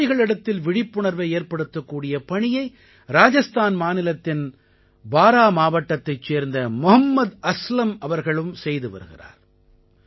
விவசாயிகளிடத்தில் விழிப்புணர்வை ஏற்படுத்தக்கூடிய பணியை ராஜஸ்தான் மாநிலத்தின் பாரா மாவட்டத்தைச் சேர்ந்த மொஹம்மத் அஸ்லம் அவர்கள் செய்து வருகிறார்